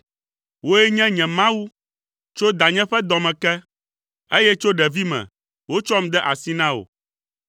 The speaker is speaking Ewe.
Wòe nye nye Mawu tso danye ƒe dɔ me ke, eye tso ɖevime wotsɔm de asi na wò.